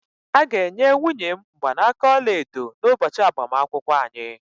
A ga-enye nwunye m mgbanaka ọla edo n'ụbọchị agbamakwụkwọ anyị